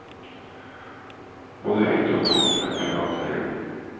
Både hytte og tomt er i privat eie.